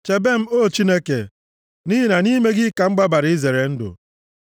Chebe m, O Chineke, nʼihi na nʼime gị ka m gbabara izere ndụ.